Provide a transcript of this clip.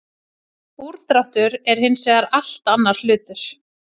Úrdráttur er hins vegar allt annar hlutur.